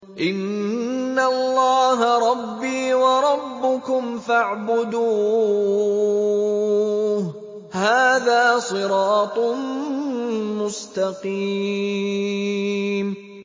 إِنَّ اللَّهَ رَبِّي وَرَبُّكُمْ فَاعْبُدُوهُ ۗ هَٰذَا صِرَاطٌ مُّسْتَقِيمٌ